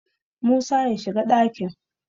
musa ya shiga dakin!